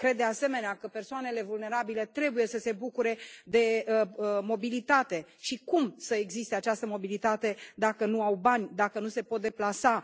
Cred de asemenea că persoanele vulnerabile trebuie să se bucure de mobilitate și cum să existe această mobilitate dacă nu au bani, dacă nu se pot deplasa?